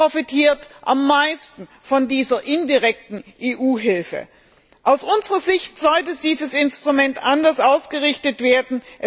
Sie profitiert am meisten von dieser indirekten EU Hilfe. Aus unserer Sicht sollte dieses Instrument anders ausgerichtet werden.